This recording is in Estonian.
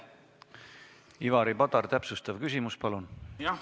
Ivari Padar, täpsustav küsimus, palun!